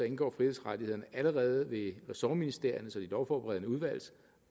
indgår frihedsrettighederne allerede ved ressortministeriernes og de lovforberedende udvalgs